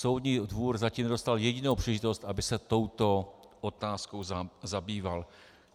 Soudní dvůr zatím nedostal jedinou příležitost, aby se touto otázkou zabýval.